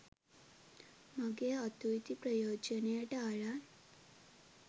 මගේ අතු ඉති ප්‍රයෝජනයට අරන්